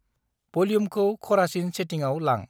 भल्युमखौ खरासिन सेटिंआव लां।